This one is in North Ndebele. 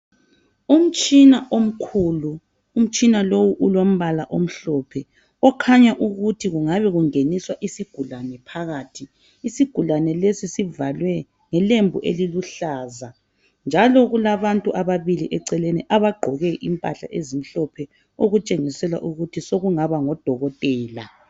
Umtshina omkhulu, umtshina lowu ulombala omhlophe okhanya ukuthi kungabe kungeniswa isigulane phakathi, isigulane lesi sivalwe ngelembu eliluhlaza njalo kulabantu ababili eceleni abagqoke impahla ezimhlophe okutshengisela ukuthi sokungaba ngodokotela.